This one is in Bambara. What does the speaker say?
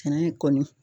Sɛnɛ kɔni